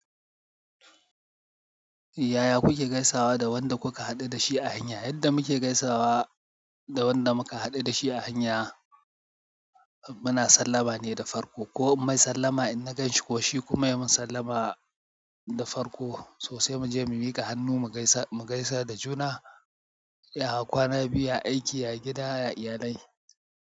Yaya kuke gaisawa da wanda kuka haɗu da shi a hanya, yanda muke gaisawa da wanda mu ka haɗu da shi a hanya, muna sallama ne da farko ko in mai sallama in naganshi ko shi ya yi min sallama da farko, so sai muje mu miƙa hannu mu gaisa, mu gaisa da juna, ya kwana biyu, ya aiki, ya gida, ya iyalai.